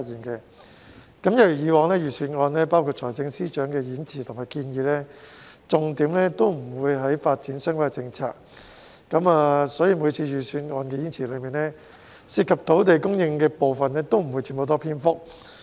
一如以往，財政預算案包括財政司司長的演辭和建議在內，重點都不會放在發展相關的政策，所以每次預算案演辭中涉及土地供應的部分，都不會佔很大篇幅。